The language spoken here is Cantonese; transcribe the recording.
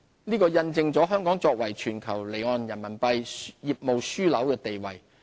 這印證了香港作為全球離岸人民幣業務樞紐的地位。